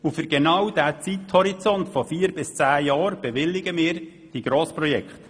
Für genau diesen Zeithorizont von vier bis zehn Jahren bewilligen wir nun zahlreiche Grossprojekte.